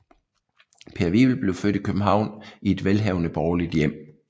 Per Wivel blev født i København i et velhavende borgerligt hjem